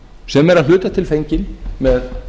sem er að hluta til fenginn með